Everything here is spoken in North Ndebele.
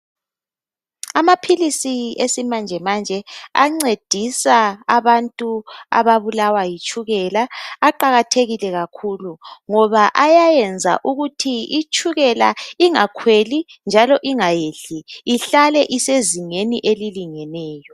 Amaphilisi esimanje manje ancedisa abantu ababulawa yitshukela aqakathekile kakhulu ngoba ayayenza ukuthi itshukela ingakhweli njalo ingayehli ihlale isezingeni elilingeneyo.